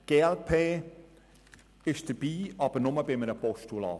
Die glp unterstützt den Vorstoss, aber nur in Form eines Postulats.